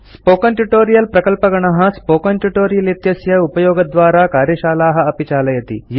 spoken tutorial प्रकल्पगणः project टीम160 spoken tutorial इत्यस्य उपयोगद्वारा कार्यशालाः अपि चालयति